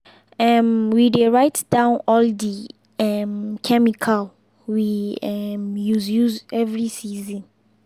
um we dey write down all the um chemical we um use use every season.